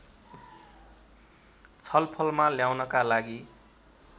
छलफलमा ल्याउनका लागि